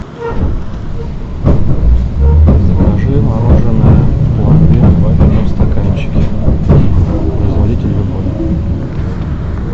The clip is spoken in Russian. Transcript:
закажи мороженное пломбир в вафельном стаканчике производитель любой